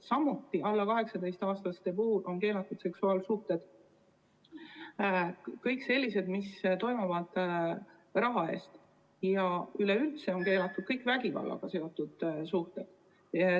Samuti on alla 18-aastaste puhul keelatud kõik sellised seksuaalsuhted, mis toimuvad raha eest, ja üleüldse on keelatud kõik vägivallaga seotud suhted.